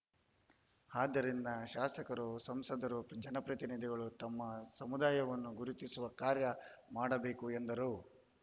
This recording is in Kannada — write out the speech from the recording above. ಆದ್ದರಿಂದ ಶಾಸಕರು ಸಂಸದರು ಜನಪ್ರತಿನಿಧಿಗಳು ತಮ್ಮ ಸಮುದಾಯವನ್ನು ಗುರುತಿಸುವ ಕಾರ್ಯ ಮಾಡಬೇಕು ಎಂದರು